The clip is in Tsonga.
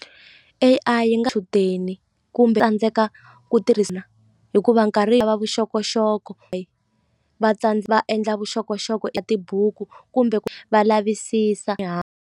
A_I yi nga kumbe ku tirhisa hikuva nkarhi yi lava vuxokoxoko va va endla vuxokoxoko ya tibuku kumbe va lavisisa .